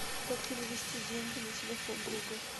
как перевести деньги на телефон друга